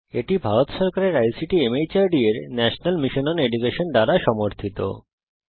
এটি ভারত সরকারের ICT MHRD এর ন্যাশনাল মিশন ওন এডুকেশন দ্বারা সমর্থিত